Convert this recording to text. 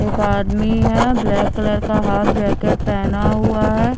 एक आदमी है ब्लैक कलर का हाफ जैकेट पेहना हुआ है।